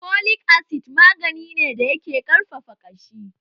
Folic acid magani ne da yake ƙarfafa ƙashi